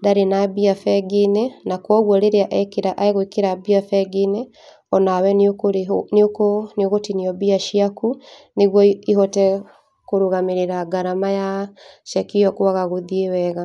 ndarĩ na mbia bengi-inĩ ,na koguo rĩrĩa ekĩra egwĩkĩra mbia bengi-inĩ onawe nĩũkũrĩhwo nĩ ũkũ nĩũgũtinio mbia ciaku, nĩguo ĩhote kũrũgamĩrĩra ngarama ya ceki ĩyo kwaga gũthiĩ wega.